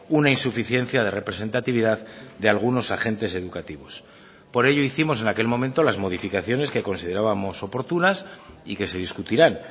una insuficiencia de representatividad de algunos agentes educativos por ello hicimos en aquel momento las modificaciones que considerábamos oportunas y que se discutirán